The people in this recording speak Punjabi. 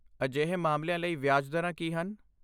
ਅਜਿਹੇ ਮਾਮਲਿਆਂ ਲਈ ਵਿਆਜ ਦਰਾਂ ਕੀ ਹਨ?